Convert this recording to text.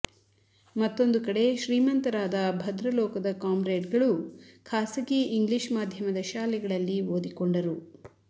ಮತ್ತೊಂದು ಕಡೆ ಶ್ರೀಮಂತರಾದ ಭದ್ರಲೋಕದ ಕಾಮ್ರೇಡ್ಗಳು ಖಾಸಗಿ ಇಂಗ್ಲೀಷ್ ಮಾಧ್ಯಮದ ಶಾಲೆಗಳಲ್ಲಿ ಓದಿಕೊಂಡರು